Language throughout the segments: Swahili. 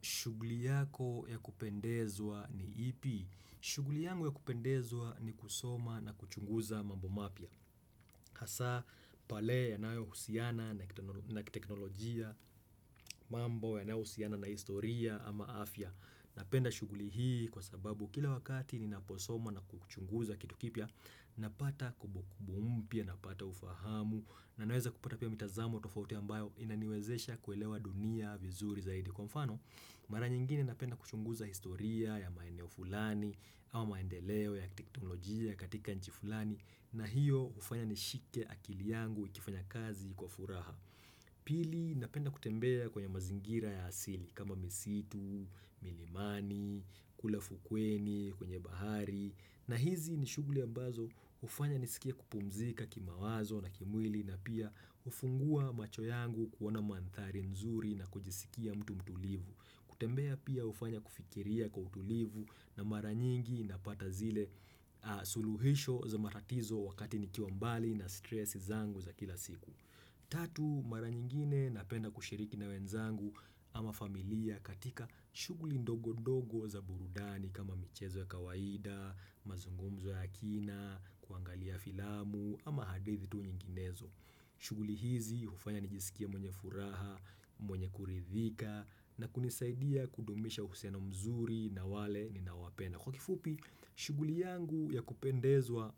Shughuli yako ya kupendezwa ni ipi? Shughuli yangu ya kupendezwa ni kusoma na kuchunguza mambo mapya. Hasa pale yanayo husiana na teknolojia, mambo yanayohusiana na historia ama afya. Napenda shughuli hii kwa sababu kila wakati ni naposoma na kuchunguza kitukipia, napata kumbukumbu mpya, napata ufahamu. Na naweza kupata pia mitazamo tofauti ambayo inaniwezesha kuelewa dunia vizuri zaidi kwa mfano. Mara nyingine napenda kuchunguza historia ya maeneo fulani au maendeleo ya teknolojia katika nchi fulani na hiyo hufanya nishike akili yangu ikifanya kazi kwa furaha. Pili napenda kutembea kwenye mazingira ya asili kama misitu, milimani, kulafukweni, kwenye bahari na hizi nishughuli ambazo hufanya nisikia kupumzika kima wazo na kimwili na pia kufungua macho yangu kuona mandhari nzuri na kujisikia mtu mtulivu. Kutembea pia hufanya kufikiria kwa utulivu na mara nyingi napata zile suluhisho za matatizo wakati nikiwa mbali na stressi zangu za kila siku. Tatu, mara nyingine napenda kushiriki na wenzangu ama familia katika shuguli ndogo-ndogo za burudani kama michezo ya kawaida, mazungumzo ya kina, kuangalia filamu ama hadithi tu nyinginezo. Shughuli hizi hufanya nijisikia mwenye furaha, mwenye kuridhika na kunisaidia kudumisha uhusiano mzuri na wale ninawapenda. Kwa kifupi, shughuli yangu ya kupendezwa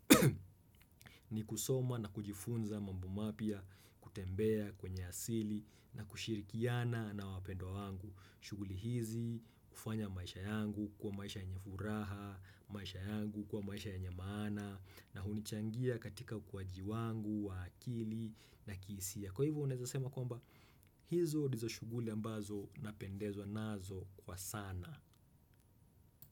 ni kusoma na kujifunza mambo mapya kutembea kwenye asili na kushirikiana na wapendwa wangu. Shughuli hizi kufanya maisha yangu kuwa maisha yenye furaha, maisha yangu kwa maisha yenye maana na hunichangia katika kwa jiwangu, wakili na kihisia. Kwa hivyo unaweza sema kwamba? Hizo ndizo shughuli ambazo napendezwa nazo kwa sana.